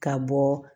Ka bɔ